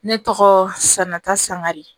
Ne tɔgɔ sanata sangare